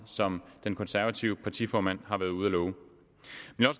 som den konservative partiformand har været ude at love